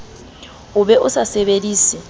o be o a sebedise